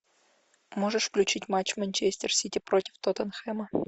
можешь включить матч манчестер сити против тоттенхэма